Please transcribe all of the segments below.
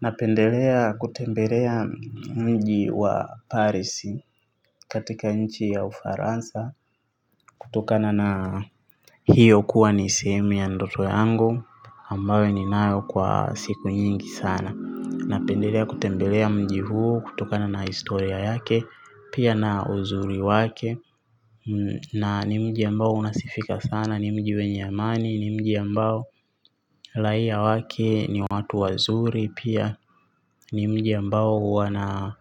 Napendelea kutembelea mji wa Paris katika nchi ya ufaransa kutokana na hiyo kuwa ni sehemu ya ndoto yango ambayo ninayo kwa siku nyingi sana. Napendelea kutembelea mji huu kutokana na historia yake pia na uzuri wake na ni mji ambao unasikika sana ni mji wenye amani ni mji ambao raia wake ni watu wazuri. Pia ni mji ambao huwa na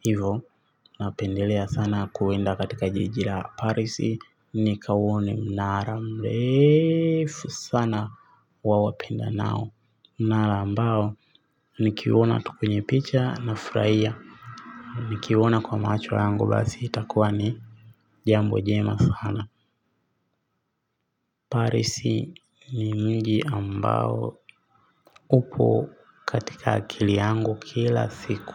hivo napendelea sana kwenda katika jiji la Paris. Nikauone mnara mrefu sana wa wapendanao. Mnara ambao nikiuona tu kwenye picha nafurahia. Nikiuona kwa macho yangu basi itakuwa ni jambo jema sana Paris ni mji ambao upo katika akili yangu kila siku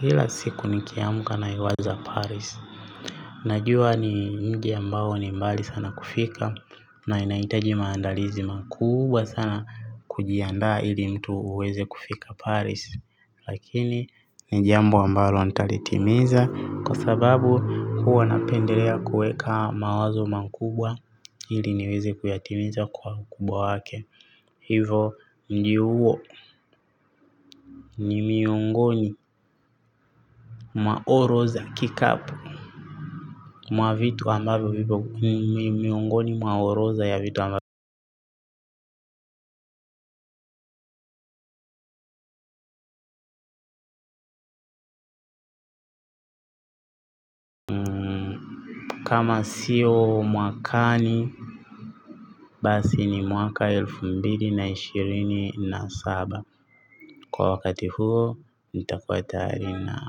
kila siku nikiamuka naiwaza Paris. Najua ni mji ambao ni mbali sana kufika. Na inaitaji maandalizi makubwa sana. Kujianda ili mtu uweze kufika paris. Lakini ni jambo ambalo nitalitimiza. Kwa sababu huwa napendelea kuweka mawazo makubwa ili niweze kuyatimiza kwa ukubwa wake. Hivo mji huo ni miongoni mwa orodha ya vitu ambavyo kama siyo Mwakani Basi ni mwaka elfu mbili na ishirini na saba. Kwa wakati huo nitakua tayari na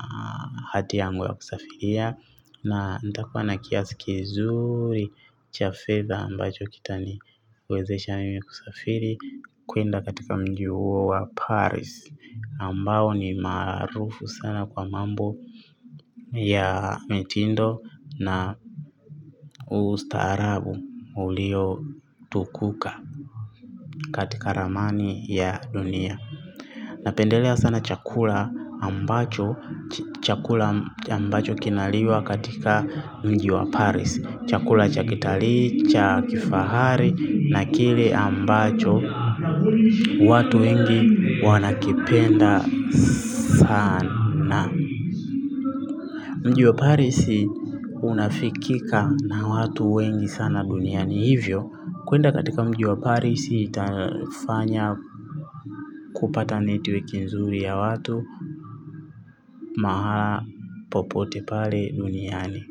hati yangu ya kusafiria. Na nitakua na kiasi kizuri cha fedha ambacho kitaniwezesha mimi kusafiri kwenda katika mji huo wa Paris Ambao ni maarufu sana kwa mambo ya mitindo na ustaarabu uliotukuka katika ramani ya dunia. Napendelea sana chakula ambacho chakula ambacho kinaliwa katika mji wa Paris Chakula cha kitalii, cha kifahari na kile ambacho watu wengi wanakipenda sana na mji wa Paris unafikika na watu wengi sana duniani hivyo kwenda katika mji wa Paris itafanya kupata network nzuri ya watu mahala popote pale duniani.